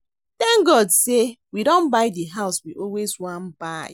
Thank God say we don buy the house we always wan buy